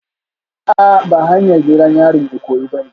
A'a ba hanyar gidan yarin Ikoyi bane